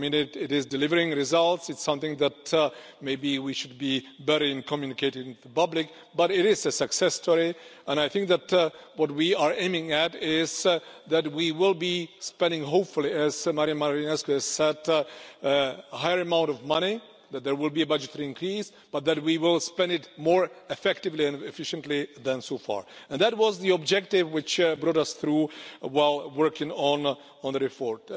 I mean, it is delivering results. Maybe it's something that we should be better at communicating to the public but it is a success story, and I think that what we are aiming at is that we will be spending hopefully, as Marian Jean Marinescu has said, a higher amount of money, that there will be a budgetary increase, but that we will spend it more effectively and efficiently than so far, and that was the objective which brought us through while working on the report.